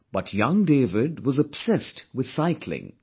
But young David was obsessed with cycling